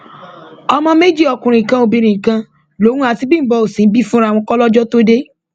ọmọ méjì ọkùnrin kan obìnrin kan lòun àti bímbọ òṣín bí fúnra wọn kólọjọ tóo dé